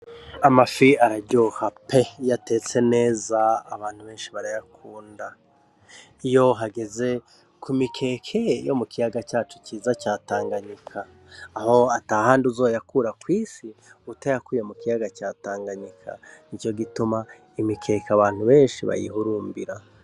Amafi araryoha pe iyo atetse neza, abantu benshi barayakunda, iyo hageze ku mikeke yo kiyaga cacu ciza ca Tanganyika aho atahandi uzoyakura kw'isi utayakuye mu kiyaga ca Tanganyika nico gituma imikeke abantu benshi bayihurumbira.